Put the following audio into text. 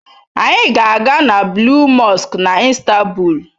Anyị ga-aga na Blue Mosque na Istanbul.